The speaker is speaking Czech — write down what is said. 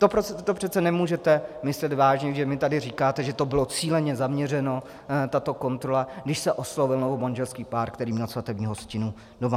To přece nemůžete myslet vážně, že mi tady říkáte, že to bylo cíleně zaměřeno, tato kontrola, když se oslovil novomanželský pár, který měl svatební hostinu doma.